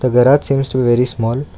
the garage seems to very small.